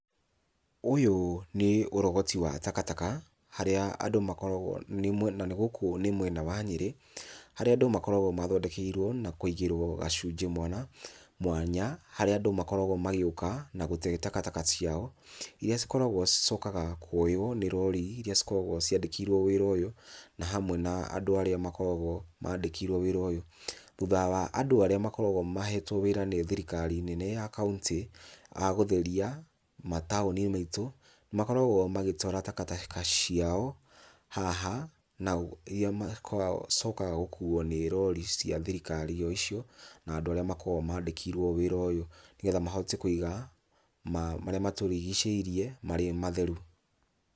Ũyũ nĩ ũrogoti wa takataka, harĩa andũ makoragwo, na nĩ gũkũ nĩ mwena wa Nyĩrĩ, harĩa andũ makoragwo maathondekeirwo na kũigĩrwo gacunjĩ mwana mwanya, harĩa andũ makoragwo magĩũka na gũte takataka ciao, iria cikoragwo cicokaga kuoywo nĩ rori iria cikoragwo ciandĩkĩirwo wĩra ũyũ na hamwe na andũ arĩa makoragwo mandĩkĩirwo wĩra ũyũ. Thutha wa andũ arĩa makoragwo mahetwo wĩra nĩ thirikari nene ya kauntĩ a gũtheria mataũni maitũ nĩmakoragwo magĩtawara takataka ciao haha na iria makoragwo macokaga gũkuo nĩ rori cia thirikari o icio na andũ arĩa makoragwo mandĩkĩirwo wĩra ũyũ nĩgetha mahote kũiga marĩa matũrigicĩirie marĩ matheru.